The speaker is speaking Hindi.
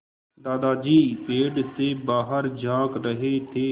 दादाजी पेड़ से बाहर झाँक रहे थे